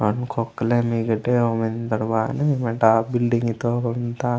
ओंड खोकलेन ईगेटोन ओमिंदोड बायनेन वेंडा बिल्डिंग इंद मीता।